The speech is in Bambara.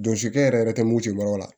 Jɔsi kɛ yɛrɛ yɛrɛ tɛ mugu ci yɔrɔw la